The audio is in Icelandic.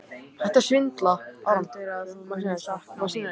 Heldurðu að þú munir sakna mín?